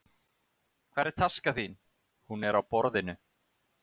Hvar er taskan þín? Hún er á borðinu.